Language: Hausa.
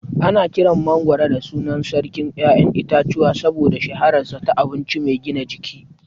Ana kiran mangwaro da sunan "Sarkin ƴaƴan itace" saboda shahararsa ta abinci mai gina jiki.